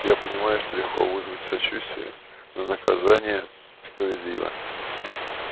я понимаю что легко вызвать сочувствие но наказание справедливо